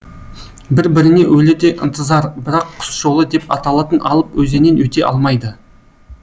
бір біріне өлердей ынтызар бірақ құс жолы деп аталатын алып өзеннен өте алмайды